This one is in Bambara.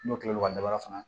N'o kila l'o ka daba kɔnɔ fana